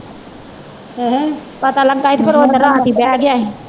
ਪਤਾ ਲੱਗਾ ਹੀ ਤੇ ਫਿਰ ਓਦਣ ਰਾਤ ਈ ਬਹਿ ਗਿਆ ਹੀ।